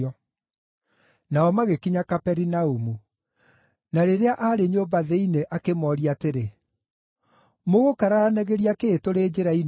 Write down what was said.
Nao magĩkinya Kaperinaumu. Na rĩrĩa aarĩ nyũmba thĩinĩ akĩmooria atĩrĩ, “Mũgũkararanagĩria kĩĩ tũrĩ njĩra-inĩ?”